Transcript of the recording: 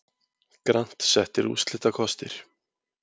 Grant settir úrslitakostir